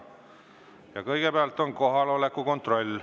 Ja kõigepealt on kohaloleku kontroll.